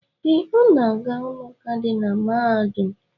Ee, Ọ ga-aga ụlọụka dị na mahadum.